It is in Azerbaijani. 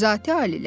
Zati-aliləri!